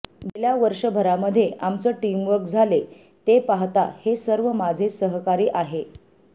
गेल्या वर्षभरामध्ये आमचं टीमवर्क झाले ते पाहता हे सर्व माझे सहकारी आहे